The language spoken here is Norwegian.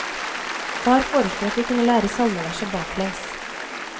Far foreslo at vi kunne lære salmeverset baklengs.